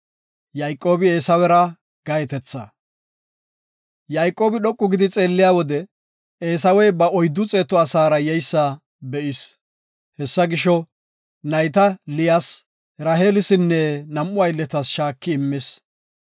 Yayqoobi dhoqu gidi xeelliya wode Eesawey ba oyddu xeetu asaara yeysa be7is. Hessa gisho, nayta Liyas, Raheelisinne nam7u aylletas shaaki immis.